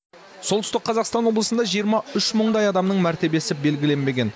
солтүстік қазақстан облысында жиырма үш мыңдай адамның мәртебесі белгіленбеген